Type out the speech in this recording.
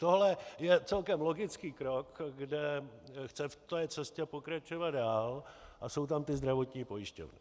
Tohle je celkem logický krok, kde chce v té cestě pokračovat dál, a jsou tam ty zdravotní pojišťovny.